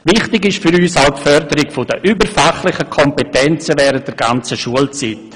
Wichtig ist für uns auch die Förderung der überfachlichen Kompetenzen während der gesamten Schulzeit.